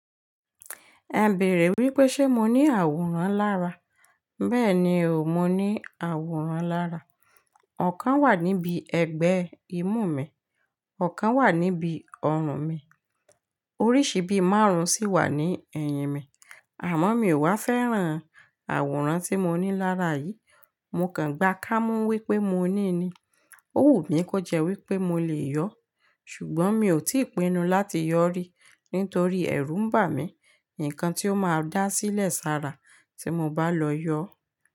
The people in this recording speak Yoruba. Ẹ bèèrè wípé ṣe mo ní àwòrán lára. Bẹ́ẹ̀ni o, mo ní àwòrán lára. Ọ̀kan wà níbi ẹgbẹ́ imú mi, ọ̀kan wà níbi ọrùn mi, oríṣi bí márùn-ún sì wà ní ẹ̀yìn mi. Àmọ́ mi ò wá fẹ́ràn àwòrán tí mo ní lára yìí. Mo kàn gba kámo wípé mo ní i ni, ó wù mí kó jẹ́ wípé mo le yọ. Ṣùgbọ́n mi ò tíì pinnu láti yọ rí nítorí ẹ̀rù ń bà mí ní nkán tí ó máa dá sílẹ̀ sára tí mo bá lọ yọ.